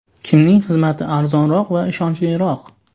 Kimning xizmati arzonroq va ishonchliroq?